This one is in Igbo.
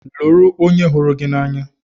Lụrụ onye hụrụ gị n'anya!